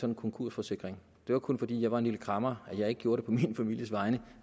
en konkursforsikring det var kun fordi jeg var en lille kræmmer at jeg ikke gjorde det på min families vegne